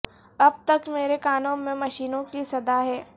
اب تک مرے کانوں میں مشینوں کی صدا ہے